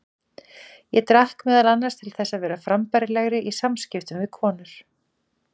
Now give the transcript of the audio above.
Ég drakk meðal annars til þess að vera frambærilegri í samskiptum við konur.